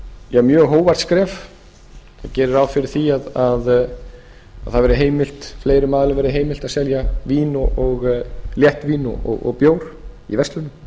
vegar mjög hógvært skref það gerir ráð fyrir því að fleiri aðilum verði heimilt að selja léttvín og bjór í verslunum